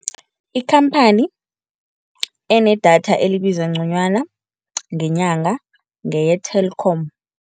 Ikhamphani enedatha elibiza nconywana ngenyanga ngeye-Telkom.